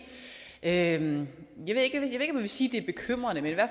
jeg jeg vil sige